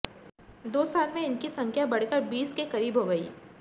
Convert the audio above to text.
दो साल में इनकी संख्या बढ़कर बीस के करीब हो गई